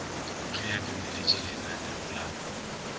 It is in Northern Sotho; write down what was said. ge a dumeletše lananeo la